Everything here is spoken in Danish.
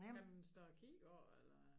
Kan man stå og kigge på eller